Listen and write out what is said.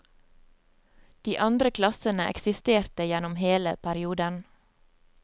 De andre klassene eksisterte gjennom hele perioden.